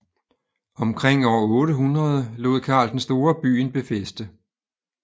Omkring år 800 lod Karl den Store byen befæste